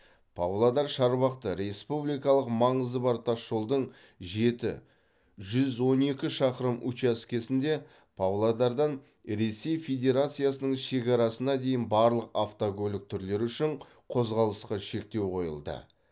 павлодар шарбақты республикалық маңызы бар тасжолдың жеті жүз он екі шақырым учаскесінде павлодардан ресей федерациясының шекарасына дейін барлық автокөлік түрлері үшін қозғалысқа шектеу қойылды